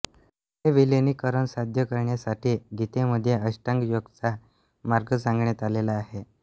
हे विलिनिकरण साध्य करण्यासाठि गितेमध्ये अष्टांगयोगाचा मार्ग सांगण्यात आलेला आहे